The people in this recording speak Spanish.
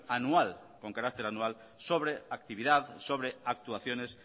anual con carácter anual sobre actividad sobre actuaciones